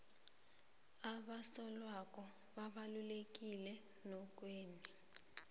abasorhwebo babalulekileemnothweni